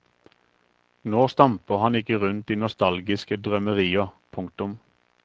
Nå stamper han ikke rundt i nostalgiske drømmerier. punktum